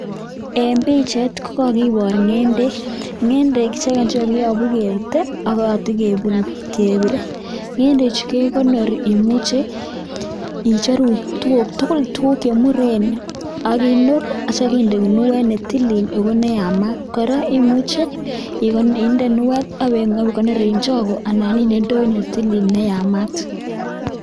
En pichait kokakiboor ngendek, ngendek chekokiyobuu kebutee ak katakebire. Ngendechu kekonoori imuche koroon icheru tuguuk tugul chemuren ak inoor ak yeityoo inde minuet netilil ak ko neamat, kora imuche indee ginuet netilil ak ibeikonor en chogoo, kora imuche indee indoit neyamaat